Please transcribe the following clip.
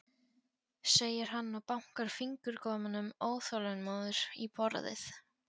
segir hann og bankar fingurgómunum óþolinmóður í borðið.